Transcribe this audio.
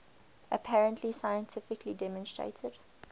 apparently scientifically demonstrated